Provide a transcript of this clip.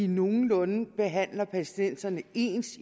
nogenlunde behandler palæstinenserne ens